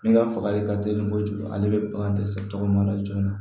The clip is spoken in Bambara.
Ne ka fagali ka teli kojugu ale bɛ bagan dɛsɛ tɔgɔ la joona